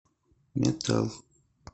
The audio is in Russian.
метал